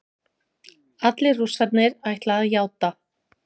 Allir Rússarnir ætla að játa